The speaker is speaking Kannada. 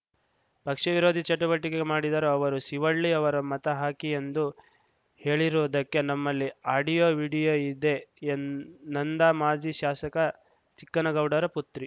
ಪಕ್ಷ ವಿರೋಧಿ ಚಟುವಟಿಕೆ ಮಾಡಿದರು ಅವರು ಶಿವಳ್ಳಿ ಅವರ ಮತ ಹಾಕಿ ಎಂದು ಹೇಳಿರುವುದಕ್ಕೆ ನಮ್ಮಲ್ಲಿ ಆಡಿಯೋ ವಿಡಿಯೋ ಇದೆಎಂ ನಂದಾ ಮಾಜಿ ಶಾಸಕ ಚಿಕ್ಕನಗೌಡರ ಪುತ್ರಿ